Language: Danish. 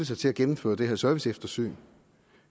sig til at gennemføre det her serviceeftersyn